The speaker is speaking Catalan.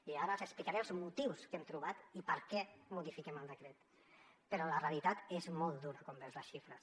i ara els explicaré els motius que hem trobat i per què modifiquem el decret però la realitat és molt dura quan veus les xifres